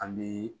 An bɛ